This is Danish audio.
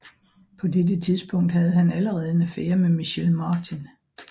På dette tidspunkt havde han allerede en affære med Michelle Martin